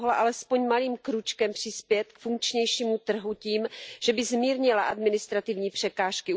Ta mohla alespoň malým krůčkem přispět k funkčnějšímu trhu tím, že by zmírnila administrativní překážky.